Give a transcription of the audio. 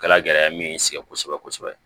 Kɛla gɛlɛya min sigi kosɛbɛ kosɛbɛ